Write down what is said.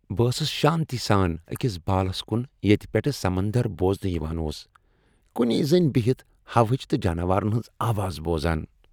بہٕ ٲسٕس شانتی سان أکِس بالس كُن ییتہِ پیٹھہٕ سمندر بوزنہٕ یوان اوس ، کُنی زٔنۍ بہِتھ ہوہٕچ تہٕ جاناوارن ہنز آواز بوزان۔